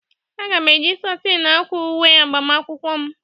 A ga-eji satin akwa uwe agbamakwụkwọ m